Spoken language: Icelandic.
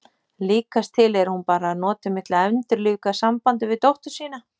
Líkast til er hún bara að nota mig til að endurlífga sambandið við dóttur sína.